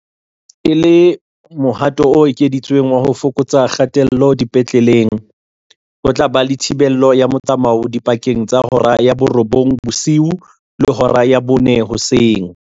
E le mohato o ekeditsweng wa ho fokotsa kgatello dipetleleng, ho tla ba le thibelo ya motsamao dipakeng tsa hora ya borobong bosiu le hora ya bone hoseng.